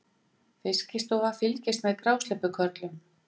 Fiskistofa fylgist með grásleppukörlum